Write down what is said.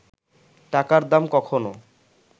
টাকার দাম কখনও